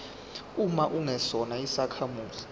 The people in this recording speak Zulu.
uma ungesona isakhamuzi